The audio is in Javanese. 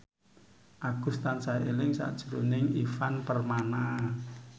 Agus tansah eling sakjroning Ivan Permana